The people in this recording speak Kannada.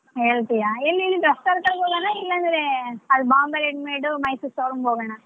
ಹೇಳ್ತೀಯಾ ಎಲ್ಲಿ ಇಲ್ಲಿ ರಸ್ತೇಲಿ ತಗೊಳೋಣಾ ಇಲ್ಲಾಂದ್ರೆ ಅಲ್ಲ್ Bombay readymade Mysore showroom ಗ್ ಹೋಗೋಣಾ.